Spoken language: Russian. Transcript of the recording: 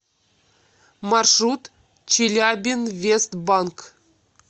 маршрут челябинвестбанк